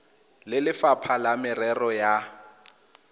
le lefapha la merero ya